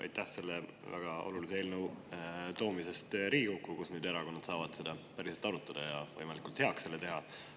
Aitäh selle väga olulise eelnõu toomise eest Riigikokku, kus nüüd erakonnad saavad seda päriselt arutada ja selle võimalikult heaks teha.